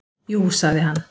"""Jú, sagði hann."""